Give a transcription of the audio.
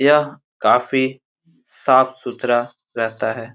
यह काफी साफ सुथरा रहता है|